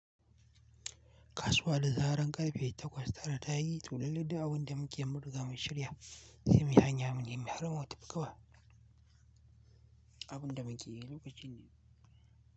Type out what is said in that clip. Kasuwa da zaren ƙarfe takwas tara ta yi to lallai duk abin da muke mun riga mun shirya, sai muyi hanya mu nemi har mu tafi kawai abin da muke lokacin.